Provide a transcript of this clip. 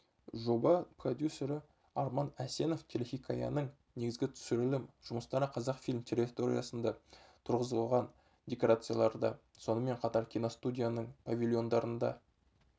жоба продюсері арман әсенов телехикаяның негізгі түсірілім жұмыстары қазақфильм территориясында тұрғызылған декорацияларда сонымен қатар киностудияның павильондарында